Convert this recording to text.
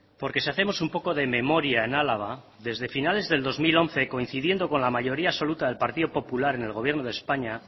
porque si hacemos un poco de memoria en álava desde finales del dos mil once coincidiendo con la mayoría absoluta del partido popular en el gobierno de españa